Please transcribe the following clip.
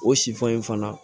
O sifan in fana